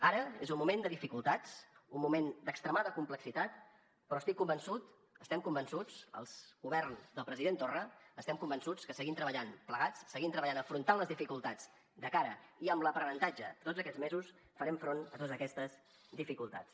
ara és un moment de dificultats un moment d’extremada complexitat però estic convençut estem convençuts el govern del president torra estem convençuts que seguint treballant plegats seguint treballant afrontant les dificultats de cara i amb l’aprenentatge tots aquests mesos farem front a totes aquestes dificultats